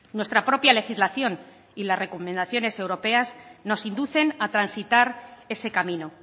nuestra propia legislación y las recomendaciones europeas nos inducen a transitar ese camino